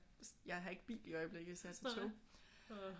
Jeg har ikke bil i øjeblikket så jeg tager tog